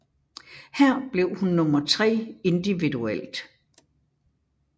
Her blev hun nummer tre individuelt